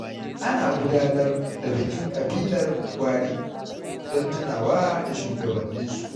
An gudanar da bikin ƙabilar Gwari don tunawa da shugabanninsu.